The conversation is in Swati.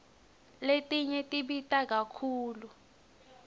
letinye tibita kakhulu